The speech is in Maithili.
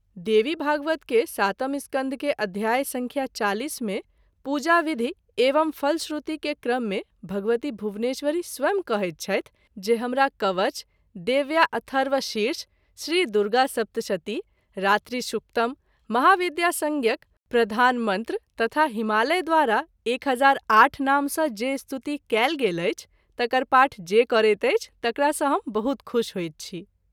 देवीभागवत के सातम स्कन्ध के अध्याय संख्या -४० मे पूजा- विधि एवं फलश्रुति के क्रम मे भगवती भुवनेश्वरी स्वयं कहैत छथि जे हमरा कवच , देव्याअथर्वशीर्ष, श्री दुर्गासप्तशती , रात्रि शुक्तम , महाविद्या- संज्ञक प्रधान मंत्र तथा हिमालय द्वारा 1008 नाम सँ जे स्तुति कएल गेल अछि तकर पाठ जे करैत अछि तकरा सँ हम बहुत खूश होइत छी।